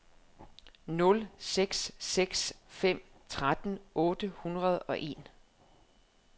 nul seks seks fem tretten otte hundrede og en